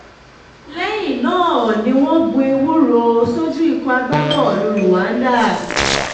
lẹ́yìn náà ni wọ́n gbọ́ ewúro sójú ikọ̀ agbábọ́ọ̀lù rwanda